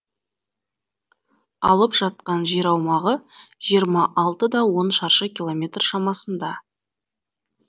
алып жатқан жер аумағы жиырма алты да он шаршы километр шамасында